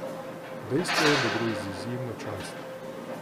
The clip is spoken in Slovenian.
Dejstvo je, da gre za izjemno čast.